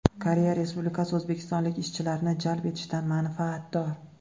Koreya Respublikasi o‘zbekistonlik ishchilarni jalb etishdan manfaatdor.